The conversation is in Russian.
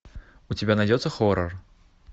у тебя найдется хоррор